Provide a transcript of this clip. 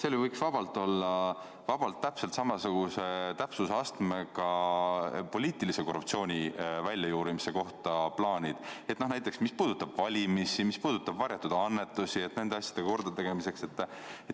Seal võiks ju vabalt olla täpselt samasuguse täpsusastmega poliitilise korruptsiooni väljajuurimise plaanid, näiteks see, mis puudutab valimisi, varjatud annetusi, nende asjade kordategemist.